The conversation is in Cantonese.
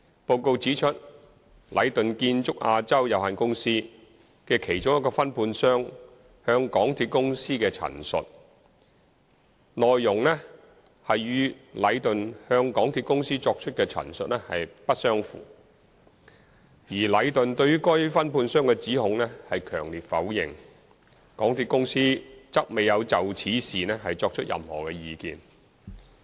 報告指出，禮頓建築有限公司的其中一個分判商向港鐵公司的陳述，其內容與禮頓向港鐵公司作出的陳述不相符，而禮頓對於該分判商的指控強烈否認，港鐵公司則未有就此事情作出任何意見。